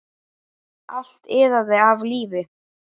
Allt iðaði af lífi.